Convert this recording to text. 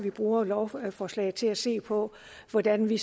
bruge lovforslaget til at se på hvordan vi